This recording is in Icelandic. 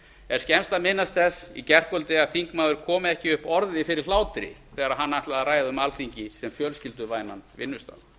er skemmst að minnast þess í gærkvöldi að þingmaður kom ekki upp orði fyrir hlátri þegar hann ætlaði að ræða um alþingi sem fjölskylduvænan vinnustað